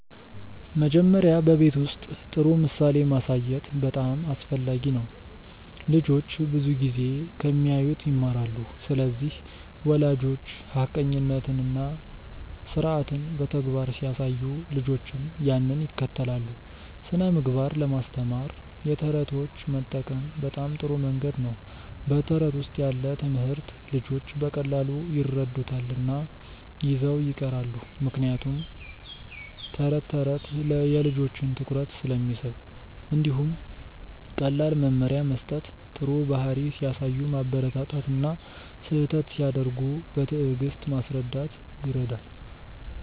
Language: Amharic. መጀመሪያ በቤት ውስጥ ጥሩ ምሳሌ ማሳየት በጣም አስፈላጊ ነው። ልጆች ብዙ ጊዜ ከሚያዩት ይማራሉ ስለዚህ ወላጆች ሐቀኛነትን እና ስርዓትን በተግባር ሲያሳዩ ልጆችም ያንን ይከተላሉ። ስነ ምግባር ለማስተማር የተረቶች መጠቀም በጣም ጥሩ መንገድ ነው በተረት ውስጥ ያለ ትምህርት ልጆች በቀላሉ ይረዱታል እና ይዘው ይቀራሉ ምክንያቱም ተረት ተረት የልጆችን ትኩረት ስለሚስብ። እንዲሁም ቀላል መመሪያ መስጠት ጥሩ ባህሪ ሲያሳዩ ማበረታታት እና ስህተት ሲያደርጉ በትዕግስት ማስረዳት ይረዳል።